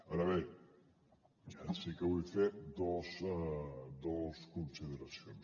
ara bé sí que vull fer dos consideracions